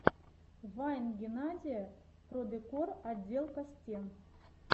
вайн геннадия продекор отделка стен